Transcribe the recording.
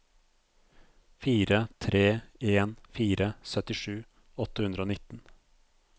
fire tre en fire syttisju åtte hundre og nitten